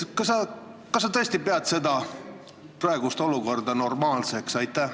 Kas sa tõesti pead praegust olukorda normaalseks?